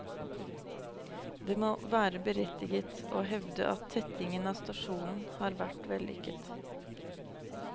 Det må være berettiget å hevde at tettingen av stasjonen har vært vellykket.